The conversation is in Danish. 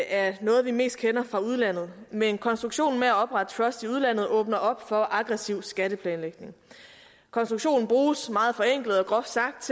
er noget vi mest kender fra udlandet men konstruktionen med at oprette trusts i udlandet åbner op for aggressiv skatteplanlægning konstruktionen bruges meget forenklet og groft sagt